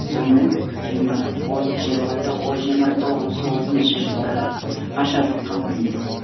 сонымен жиырма жиырма жиырма тоғыз отызыншы жылдары ашаршыыққа ұрынды